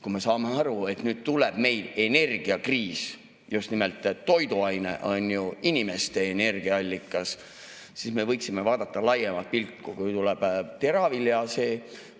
Kui me saame aru, et meil tuleb energiakriis – just nimelt toiduaine on ju inimeste energiaallikas –, siis me võiksime vaadata laiemalt, kui tuleb teravilja.